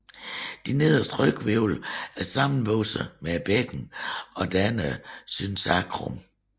De nederste ryghvirvler er sammenvoksede med bækkenet og danner synsacrum